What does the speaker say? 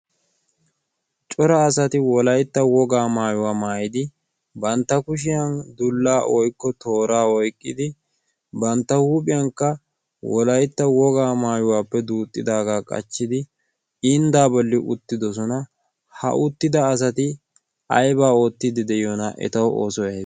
cora asati wolaitta wogaa maayuwaa maayidi bantta kushiyan dullaa woikko tooraa oiqqidi bantta huuphiyankka wolaitta wogaa maayuwaappe duuxxidaagaa qachchidi inddaa bolli uttidosona. ha uttida asati aibaa oottiidi de7iyoona etau ooso aybe?